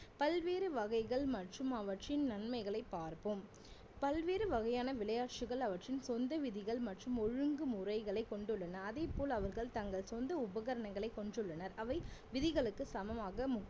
பல்வேறு வகைகள் மற்றும் அவற்றின் நன்மைகளை பார்ப்போம் பல்வேறு வகையான விளையாட்டுகள் அவற்றின் சொந்த விதிகள் மற்றும் ஒழுங்கு முறைகளை கொண்டுள்ளன அதேபோல் அவர்கள் தங்கள் சொந்த உபகரணங்களை கொண்டுள்ளனர் அவை விதிகளுக்கு சமமாக